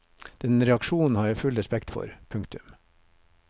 Den reaksjonen har jeg full respekt for. punktum